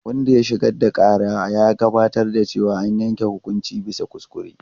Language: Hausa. Wanda ya shigar da ƙara ya gabatar da cewa an yanke hukunci bisa kuskure.